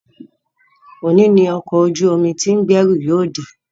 Òní ni ọkọ̀ ojú omi tí ń gbẹ́rù yóò dé